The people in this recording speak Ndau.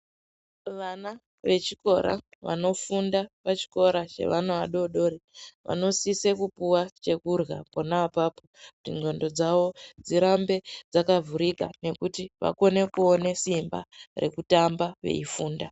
Vana vechikora vanofunda pachikora chevana vadodori vanosise kupiwa chekurya ponapapo kuti ndxondo dzavo dzirambe dzakavhurika nekuti vakone kuona simba rekutamba veifunda.